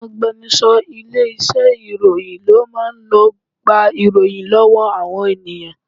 Àwọn agbẹnuṣọ ilé iṣẹ́ oníròyìn ló máa ń lọ gba ìròyìn lọ́wọ́ àwọn ènìyàn